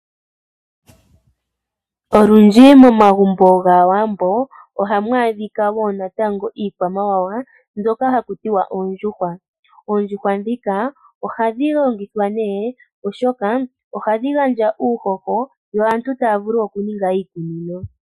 Olundji momagumbo kaawambo ohamu adhika wo natango iikwamawawa mbyoka ha kutiwa oondjuhwa. Ohadhi longithwa ne oshoka ohadhi gandja uuhoho yo aantu taya vulu oku ninga iikunino.